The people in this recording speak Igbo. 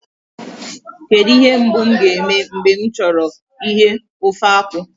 Kedụ ihe mbụ m ga-eme mgbe m chọrọ ighe ofe akwụ